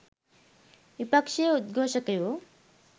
විපක්ෂයේ උද්ඝෝෂකයෝ